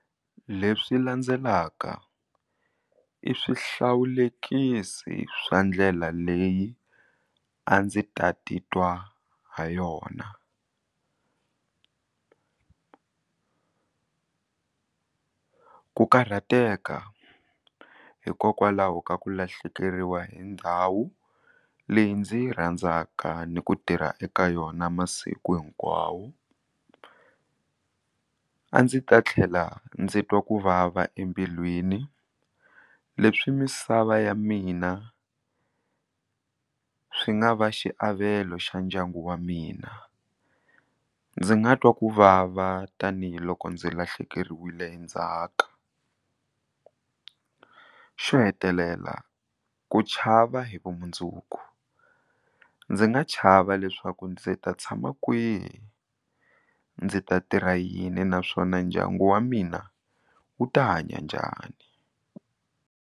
Leswi landzelaka i swihlawulekisi swa ndlela leyi a ndzi ta titwa ha yona ku karhateka hikokwalaho ka ku lahlekeriwa hi ndhawu leyi ndzi yi rhandzaka ni ku tirha eka yona masiku hinkwawo a ndzi ta tlhela ndzi twa ku vava embilwini leswi misava ya mina swi nga va xiavelo xa ndyangu wa mina ndzi nga twa ku vava tanihiloko ndzi lahlekeriwile hi ndzhaka xo hetelela ku chava hi vumundzuku ndzi nga chava leswaku ndzi ta tshama kwihi ndzi ta tirha yini naswona ndyangu wa mina wu ta hanya njhani.